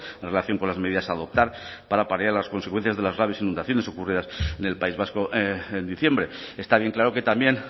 en relación con las medidas a adoptar para paliar las consecuencias de las graves inundaciones ocurridas en el país vasco en diciembre está bien claro que también